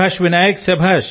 శభాశ్ Vinayak